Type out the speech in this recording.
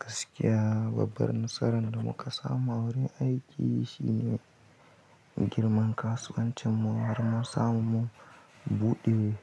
Gaskiya babbar nasarar da muka samu a wurin aiki shine girman kasuwancinmu har mun samu mun buɗe